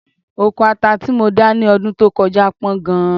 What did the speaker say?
Oko ata tí mo dá ní ọdún tó kọjá pọ̀ gan-an